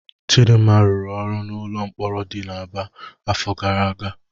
Chidinma rụrụ ọrụ n'ụlọ mkpọrọ di n'Aba n'afọ gara aga.